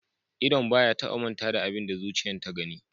Idon ba ya taba manta da abin da zuciyan ta gani.